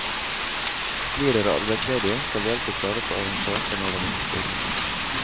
Blir dere arbeidsledige, skal vi altid klare å få arrangert en overgangsordning.